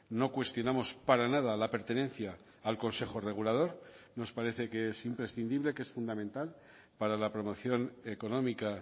no cuestionamos para nada la pertenencia al consejo regulador nos parece que es imprescindible que es fundamental para la promoción económica